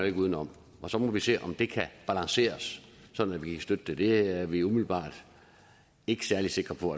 ikke uden om og så må vi se om det kan balanceres så vi kan støtte det det er vi umiddelbart ikke særlig sikre på